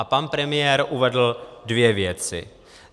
A pan premiér uvedl dvě věci.